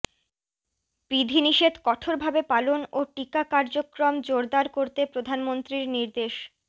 বিধিনিষেধ কঠোরভাবে পালন ও টিকা কার্যক্রম জোরদার করতে প্রধানমন্ত্রীর নির্দেশ